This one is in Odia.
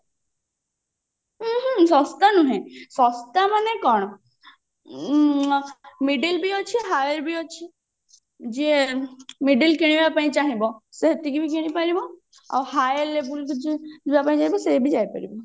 ହୁଁ ହୁଁ ଶସ୍ତା ନୁହେ ଶସ୍ତା ମାନେ କଣ middle ବି ଅଛି higher ବି ଅଛି ଯିଏ middle କିଣିବା ପାଇଁ ଚାହିଁବ ସେ ହେତିକି ବି କିଣି ପାରିବ ଆଉ higher level କୁ ଯିଏ ଯିବାପାଇଁ ଚାହିଁବ ସେ ବି ଯାଇ ପାରିବ